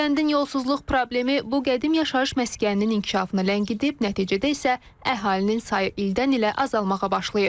Kəndin yolsusluq problemi bu qədim yaşayış məskəninin inkişafını ləngidib, nəticədə isə əhalinin sayı ildən-ilə azalmağa başlayıb.